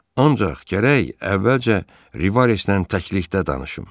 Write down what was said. Ancaq gərək əvvəlcə Rivaresdən təklikdə danışım.